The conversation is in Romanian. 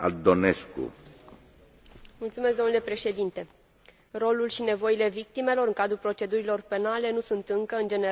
Rolul și nevoile victimelor în cadrul procedurilor penale nu sunt încă, în general, suficient luate în considerare în sistemele juridice ale statelor membre.